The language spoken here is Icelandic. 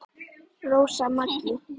Rósa Maggý.